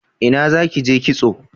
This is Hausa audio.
Ina za ki je kitso?